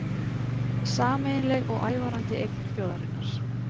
Sameiginleg og ævarandi eign þjóðarinnar